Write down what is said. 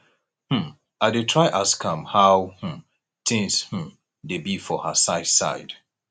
um i dey try ask am how um things um dey be for her side side